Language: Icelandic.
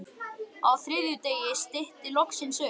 Á þriðja degi stytti loksins upp.